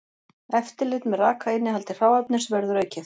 Eftirlit með rakainnihaldi hráefnis verður aukið